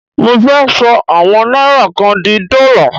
Mo fẹ́ ṣọ àwọn náírà kan di dọ́là.